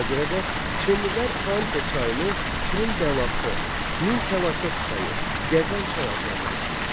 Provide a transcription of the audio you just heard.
Ona görə də Çinlilər Xuanxə çayını Çinin bəlası, min fəlakət çayı, gəzən çay adlandırırdılar.